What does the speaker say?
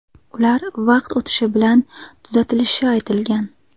Ular vaqt o‘tishi bilan tuzatilishi aytilgan.